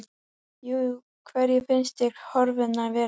Jú, hverjar finnst þér horfurnar vera?